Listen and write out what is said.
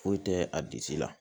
Foyi tɛ a bisi la